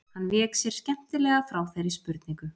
Hann vék sér skemmtilega frá þeirri spurningu.